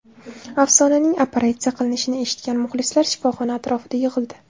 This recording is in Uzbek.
Afsonaning operatsiya qilinishini eshitgan muxlislar shifoxona atrofida yig‘ildi.